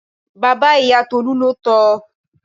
Bàbá ìyá Tolú ló tọ.